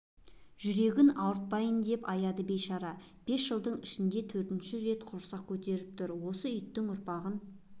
жүрегін ауыртпайын деп аяды бейшара бес жылдың ішінде төртінші рет құрсақ көтеріп тұр осы иттің ұрпағын